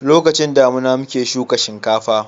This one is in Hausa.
lokacin damina muke shuka shinkafa